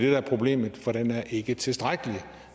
er problemet for den er ikke tilstrækkelig